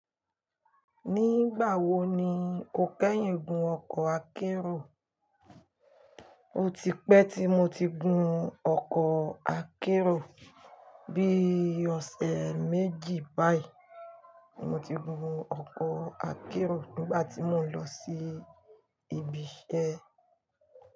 Nígbà wo ni o kẹ́yìn gun ọkọ̀ akérò? O ti pẹ́ tí mo ti gun ọkọ̀ akérò, bí i ọ̀sẹ̀ méjì báyìí mo ti gun ọkọ̀ akérò nígbà tí mò ń lọ sí ibi iṣẹ́.